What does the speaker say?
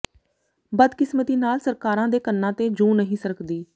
ਬਦਕਿਸਮਤੀ ਨਾਲ ਸਰਕਾਰਾਂ ਦੇ ਕੰਨਾਂ ਤੇ ਜੂੰ ਨਹੀ ਸਰਕਦੀ